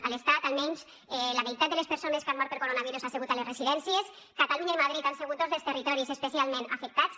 a l’estat almenys la meitat de les persones que han mort per coronavirus ha sigut a les residències catalunya i madrid han sigut dos dels territoris especialment afectats